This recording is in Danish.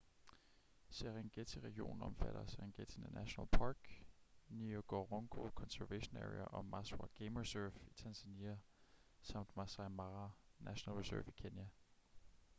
serengeti-regionen omfatter serengeti national park ngorongoro conservation area og maswa game reserve i tanzania samt maasai mara national reserve i kenya